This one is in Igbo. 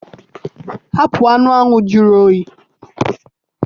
Hapụ anụ ahụ jụrụ oyi!